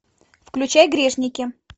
включай грешники